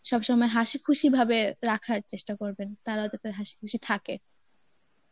সবসময় হাসিখুশি ভাবে রাখার চেষ্টা করবেন, তারাও যাতে হাসিখুশি থাকে.